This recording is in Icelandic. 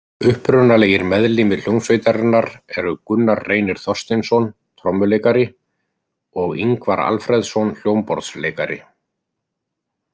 Upprunalegir meðlimir hljómsveitarinnar eru Gunnar Reynir Þorsteinsson trommuleikari og Ingvar Alfreðsson hljómborðsleikari.